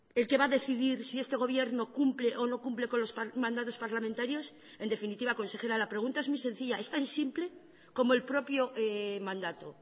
el que va a decidir si este gobierno cumple o no cumple con los mandatos parlamentarios en definitiva consejera la pregunta es muy sencilla es tan simple como el propio mandato